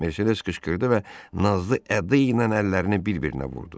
Mersedes qışqırdı və nazlı ədaynan əllərini bir-birinə vurdu.